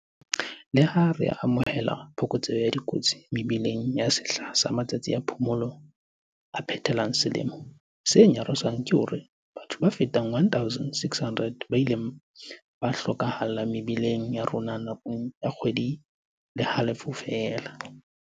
Leha re amohela phokotseho ya dikotsi mebileng nakong ya sehla sa matsatsi a phomolo a phethelang selemo, se nyarosang ke hore ke batho ba fetang 1,600 ba ileng ba hlo kahalla mebileng ya rona na kong ya kgwedi le halofo feela.